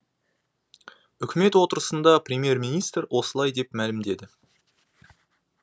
үкімет отырысында премьер министр осылай деп мәлімдеді